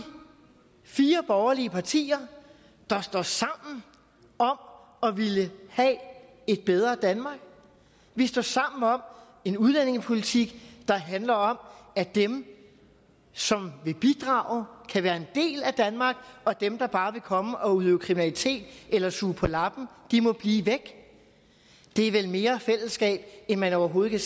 fire borgerlige partier der står sammen om at ville have et bedre danmark vi står sammen om en udlændingepolitik der handler om at dem som vil bidrage kan være en del af danmark og dem der bare vil komme og udøve kriminalitet eller suge på lappen må blive væk det er vel mere fællesskab end man overhovedet kan